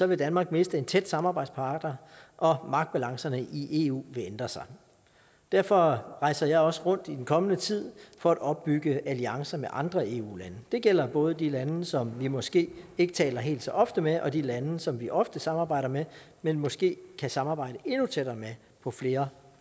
vil danmark miste en tæt samarbejdspartner og magtbalancerne i eu vil ændre sig derfor rejser jeg også rundt i den kommende tid for at opbygge alliancer med andre eu lande det gælder både de lande som vi måske ikke taler helt så ofte med og de lande som vi ofte samarbejder med men måske kan samarbejde endnu tættere med på flere